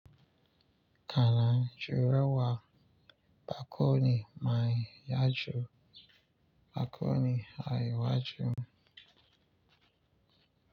Kana jurewa bakoni mai yaju bakoni a iwaju.